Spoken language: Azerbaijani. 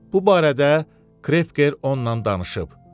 Bu barədə Krefker onunla danışıb.